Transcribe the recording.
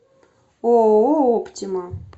ооо оптима